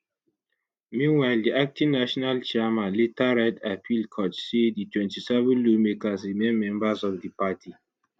meanwhile di acting national chairman later write appeal court say di 27 lawmakers remain members of di party